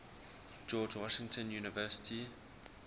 george washington university